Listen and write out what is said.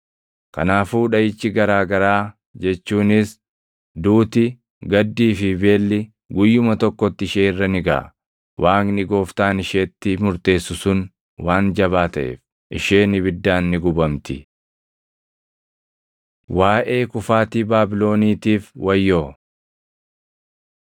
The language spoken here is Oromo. Kanaafuu dhaʼichi garaa garaa jechuunis, duuti, gaddii fi beelli guyyuma tokkotti ishee irra ni gaʼa. Waaqni Gooftaan isheetti murteessu sun waan jabaa taʼeef, isheen ibiddaan ni gubamti. Waaʼee Kufaatii Baabiloniitiif Wayyoo